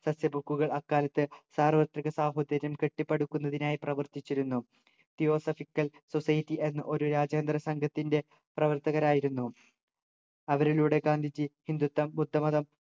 സസ്യബുക്കുകൾ അക്കാലത്ത് സാർവത്രിക സാഹോദര്യം കെട്ടിപ്പടുക്കുന്നതിനായി പ്രവർത്തിച്ചിരുന്നു theosophical society എന്ന ഒരു രാജ്യാന്തര സംഘത്തിൻ്റെ പ്രവർത്തകരായിരുന്നു അവരിലൂടെ ഗാന്ധിജി ഹിന്ദുത്വം ബുദ്ധമതം